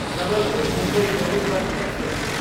Jabalpur, Mumbai Garib Rath express